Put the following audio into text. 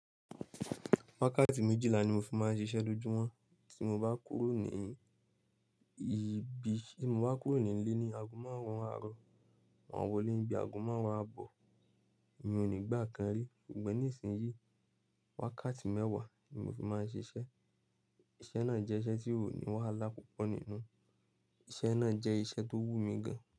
Wákàtí méjìlá ni mo fi máa ń ṣiṣẹ́ lójúmọ́ tí mo bá kúrò ní ìbí, tí mo bá kúrò nílé ni aago márùn-ún àárọ̀, máa wọlé níbi aago márùn-ún àbọ̀, mi ò ní gbà kan rí. Ṣùgbọ́n nísinyí, wákàtí mẹ́wàá ni mo fi máa ń ṣiṣẹ́. Iṣẹ́ náà jẹ́ iṣẹ́ tí ó ní wàhálà púpọ̀ nínú. Iṣẹ́ náà jẹ́ iṣẹ́ tó wù mí gan.